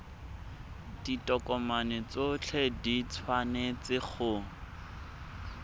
ditokomane tsotlhe di tshwanetse go